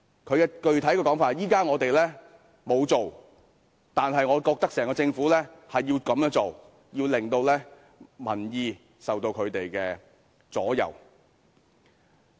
他的具體說法是現在他們沒有這樣做，但是他覺得整個政府應這樣做，要令民意受到他們的左右。